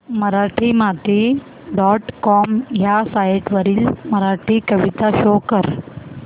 Marathimati dot com ह्या site वरील मराठी कविता शो कर